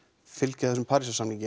fylgja þessum